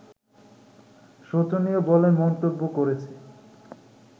শোচনীয় বলে মন্তব্য করেছে